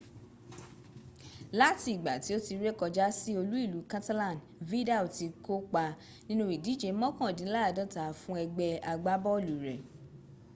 lati igba ti o ti re koja si olu-ilu catalan vidal ti ko pa ninu idije mokandinlaadota fun egbe agbabolu re